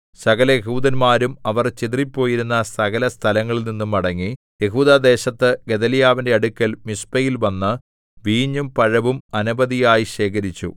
സകലയെഹൂദന്മാരും അവർ ചിതറിപ്പോയിരുന്ന സകലസ്ഥലങ്ങളിൽനിന്നും മടങ്ങി യെഹൂദാദേശത്ത് ഗെദല്യാവിന്റെ അടുക്കൽ മിസ്പയിൽ വന്ന് വീഞ്ഞും പഴവും അനവധിയായി ശേഖരിച്ചു